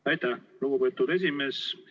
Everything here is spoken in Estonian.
Aitäh, lugupeetud esimees!